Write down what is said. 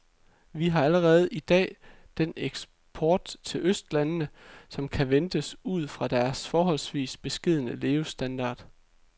Vi har allerede i dag den eksport til østlandene, som kan ventes ud fra deres forholdsvis beskedne levestandard.